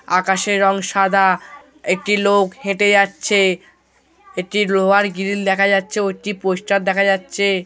আকাশের রং সাদা। একটি লোক হেটে যাচ্ছে। এটি লোহার গ্রিল দেখা যাচ্ছে ও একটি পোস্টার দেখা যাচ্ছে।